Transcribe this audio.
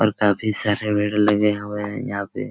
और काफी सारे भीड़ लगे हुए हैं यहाँ पे।